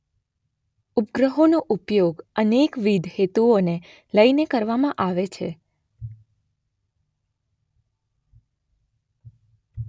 ઉપગ્રહોનો ઉપયોગ અનેકવિધ હેતુઓને લઈને કરવામાં આવે છે.